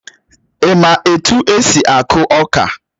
Ị́ mà etu esi aku ọka?